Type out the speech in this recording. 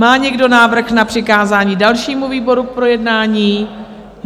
Má někdo návrh na přikázání dalšímu výboru k projednání?